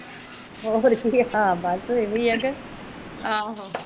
ਹੋਰ ਕਿ ਬਸ ਇਹੀ ਆ ਕੇ